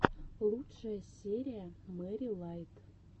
лучшая серия мэри лайт